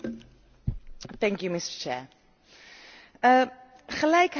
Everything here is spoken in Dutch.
Gelijkheid tussen mannen en vrouwen is een Europees basisrecht.